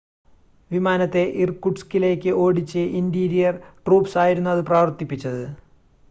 വിമാനത്തെ ഇർകുട്സ്കിലേക്ക് ഓടിച്ചു interior troops ആയിരുന്നു അത് പ്രവർത്തിപ്പിച്ചത്